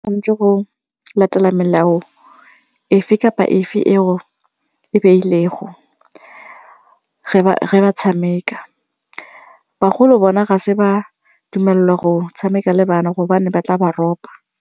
Tshwanetse go latela melao efe kapa efe eo e beilwego ge ba tshameka, bagolo bona ga se ba dumelelwa go tshameka le bana gobane ba tla ba ropa.